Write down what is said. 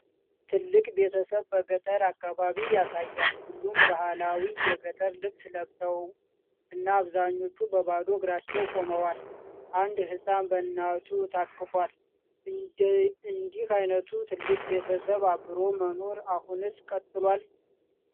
ትልቅ ቤተሰብ በገጠር አካባቢ ያሳያል። ሁሉም በባህላዊ የገጠር ልብስ ለብሰው እና አብዛኞቹ በባዶ እግራቸው ቆመዋል። አንድ ሕፃን በእናቱ ታቅፏል። እንዲህ ዓይነቱ ትልቅ ቤተሰብ አብሮ መኖር አሁንስ ቀጥሏል?